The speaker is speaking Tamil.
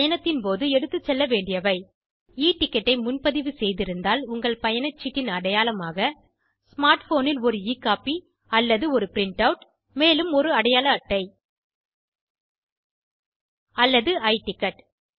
பயணத்தின் போது எடுத்துச் செல்லவேண்டியவை e டிக்கெட் ஐ முன்பதிவு செய்திருந்தால் உங்கள் பயணச்சீட்டின் ஏதேனும் ஒரு அடையாளமாக ஸ்மார்ட் போன் ல் ஒரு e கோப்பி அல்லது ஒரு பிரின்ட் ஆட் மேலும் ஒரு அடையாள அட்டை அல்லது i டிக்கெட்